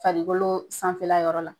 Farikolo sanfɛla yɔrɔ la